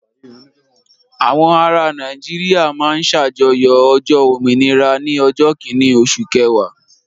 Àwọn ará Nàìjíríà máa ń ṣàjọyọ̀ ọjọ́ òmìnira ní ọjọ́ kìíní oṣù kẹwàá.